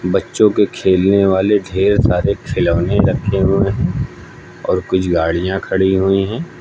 बच्चों के खेलने वाले ढेर सारे खिलौने रखे हुए हैं और कुछ गाड़ियां खड़ी हुई हैं।